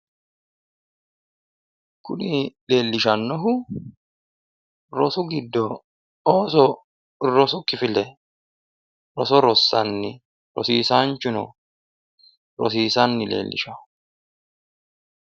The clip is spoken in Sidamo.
kuni leellishannohu rosu giddo ooso rosu kifile roso rossanni rosiisaanchuno rosiisanni leellishshawo.